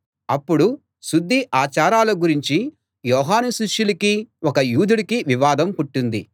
అప్పుడు శుద్ధి ఆచారాల గురించి యోహాను శిష్యులకీ ఒక యూదుడికీ వివాదం పుట్టింది